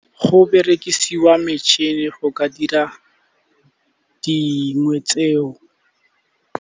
Go berekisiwa metšhini go ka dira dingwe tse o.